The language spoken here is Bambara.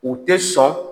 U tɛ sɔn